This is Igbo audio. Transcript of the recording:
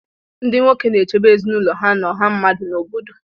Ndị nwoke na-echebe ezinụlọ ha na ọha mmadụ n'obodo